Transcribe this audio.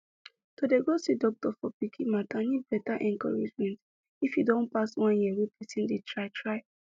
to dey go see doctor for pikin matter need better encouragement if e don pass one year wey person dey try try